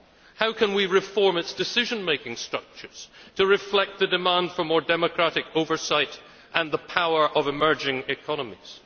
How can we reform its decision making structures to reflect the demand for more democratic oversight and the power of emerging economies?